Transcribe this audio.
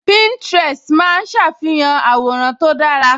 Pininterest máa ń ṣàfihàn àwòrán tó dára